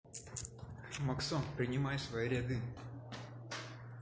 максон принимай в свои ряды